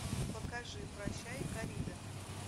покажи прощай коррида